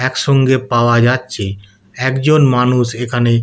একসঙ্গে পাওয়া যাচ্ছে একজন মানুষ এখানে--